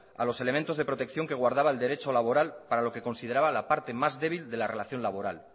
a los elementos de protección que guardaba el derecho laboral para lo que consideraba la parte más débil de la relación laboral